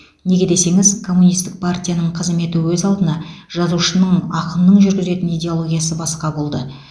неге десеңіз коммунистік партияның қызметі өз алдына жазушының ақынның жүргізетін идеологиясы басқа болды